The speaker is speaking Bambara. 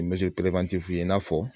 i n'a fɔ